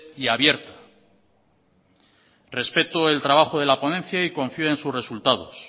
y abierta respeto el trabajo de la ponencia y confío en sus resultados